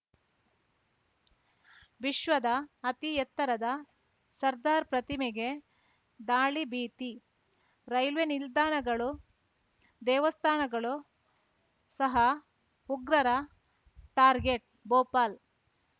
ವಿಶ್ವದ ಅತಿ ಎತ್ತರದ ಸರ್ದಾರ್‌ ಪ್ರತಿಮೆಗೆ ದಾಳಿ ಭೀತಿ ರೈಲ್ವೆ ನಿಲ್ದಾಣಗಳು ದೇವಸ್ಥಾನಗಳು ಸಹ ಉಗ್ರರ ಟಾರ್ಗೆಟ್‌ ಭೋಪಾಲ್‌